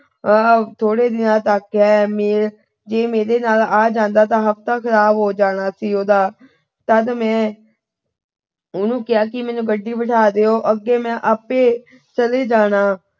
ਆਹ ਥੋੜੇ ਦਿਨਾਂ ਤੱਕ ਹੈ। ਜੇ ਮੇਰੇ ਨਾਲ ਆ ਜਾਂਦਾ ਤਾਂ ਹਫਤਾ ਖਰਾਬ ਹੋ ਜਾਣਾ ਸੀ ਉਹਦਾ। ਤਦ ਮੈਂ ਉਹਨੂੰ ਕਿਹਾ ਕਿ ਮੈਨੂੰ ਗੱਡੀ ਬਿਠਾ ਦਿਉ। ਅੱਗੇ ਮੈਂ ਆਪੇ ਚਲੇ ਜਾਣਾ।